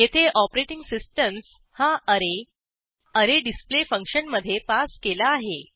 येथे operating systems हा array array display फंक्शनमधे पास केला आहे